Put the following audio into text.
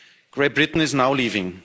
Great Britain is now leaving.